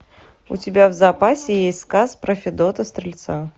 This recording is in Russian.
у тебя в запасе есть сказ про федота стрельца